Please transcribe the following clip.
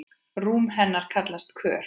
Rúm hennar kallast Kör.